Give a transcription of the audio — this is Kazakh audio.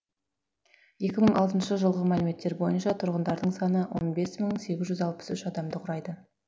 екі мың алтыншы жылғы мәліметтер бойынша тұрғындарының саны он бес мың сегіз жүз алпыс үш адамды құрайды